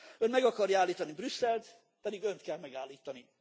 Ön meg akarja állítani Brüsszelt, pedig önt kell megállítani.